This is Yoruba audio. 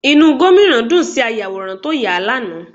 Inú Gómìnà dùn sí ayàwòrán tó yà á lánàá